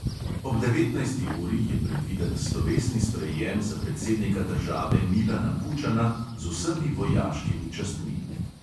Ob devetnajsti uri je predviden slovesni sprejem za predsednika države milana kučana z vsemi vojaškimi častmi.